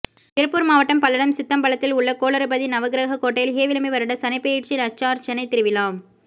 திருப்பூா் மாவட்டம் பல்லடம் சித்தம்பலத்தில் உள்ள கோளறுபதி நவகிரக கோட்டையில் ஹேவிளம்பி வருட சனிப் பெயா்ச்சி லட்சாா்ச்சனை திருவிழா